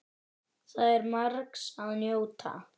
Þar er margs að njóta.